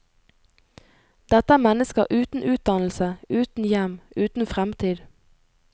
Dette er mennesker uten utdannelse, uten hjem, uten fremtid.